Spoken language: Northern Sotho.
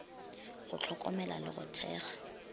go hlokomela le go thekga